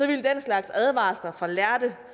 ville den slags advarsler fra lærde